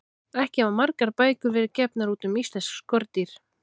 Ekki hafa margar bækur verið gefnar út um íslensk skordýr.